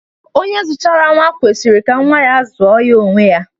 Onye zμchara nwa kwesjrj ka nwa zuo ya onwe ya.